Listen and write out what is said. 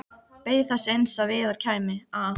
Beið þess eins að Viðar kæmi, að